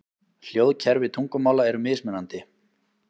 Hljóðkerfi tungumála eru mismunandi.